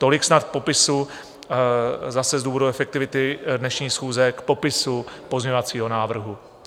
Tolik snad k popisu, zase z důvodu efektivity dnešní schůze, k popisu pozměňovacího návrhu.